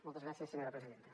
moltes gràcies senyora presidenta